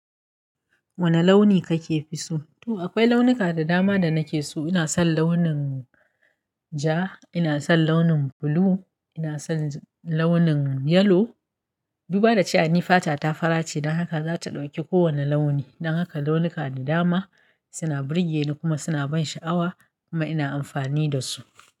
Wane launi kake fi so? To akwai launuka da dama da nake so. Ina son launin ja, ina son launin blue, ina son launin yellow. Duba da cewa ni fata ta fara ce, don haka za ta ɗauki kowane launi. Don haka launuka da dama suna burge ni kuma suna ban sha'awa kuma ina amfani da su.